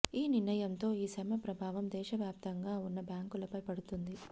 ఈ నిర్ణయం తో ఈ సమ్మె ప్రభావం దేశ వ్యాప్తంగా ఉన్న బ్యాంకులపై పడుతుంది